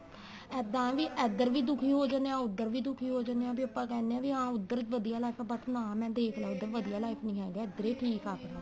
ਇੱਦਾਂ ਏ ਵੀ ਇੱਧਰ ਵੀ ਦੁਖੀ ਹੋ ਜਾਨੇ ਆ ਉੱਧਰ ਵੀ ਦੁਖੀ ਹੋ ਜਾਨੇ ਆ ਬੀ ਆਪਾਂ ਕਹਿਨੇ ਆ ਵੀ ਹਾਂ ਉੱਧਰ ਵੀ ਵਧੀਆ life but ਨਾ ਮੈਂ ਦੇਖ ਲਿਆ ਉੱਧਰ ਵੀ ਵਧੀਆ life ਨੀਂ ਹੈ ਇੱਧਰ ਈ ਠੀਕ ਆਪਣਾ